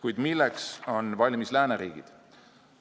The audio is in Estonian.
Kuid milleks on valmis lääneriigid?